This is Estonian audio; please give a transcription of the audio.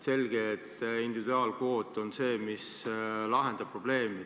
Selge, et individuaalkvoot on see, mis lahendab probleemi.